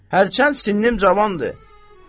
Hərçənd sinnim cavandır.